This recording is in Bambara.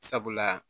Sabula